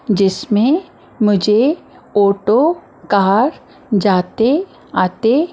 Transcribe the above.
जिसमें मुझे auto car जाते आते--